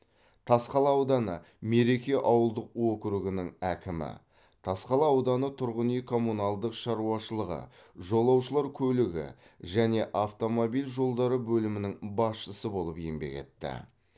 тасқала ауданы мереке ауылдық округінің әкімі тасқала ауданы тұрғын үй коммуналдық шаруашылығы жолаушылар көлігі және автомобиль жолдары бөлімінің басшысы болып еңбек етті